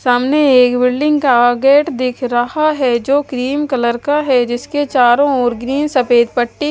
सामने एक बिल्डिंग का गेट दिख रहा है जो क्रीम कलर का है जिसके चारों ओर ग्रीन सफेद पट्टी--